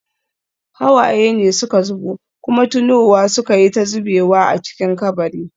Hawaye ne suka zubo, kuma tunowa suka yi ta zubewa a cikin kabari.